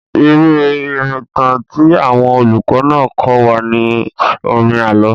Irú ìrìntàn tí àwọn olùkọ́ náà kọ́ wa ni orin àlọ́.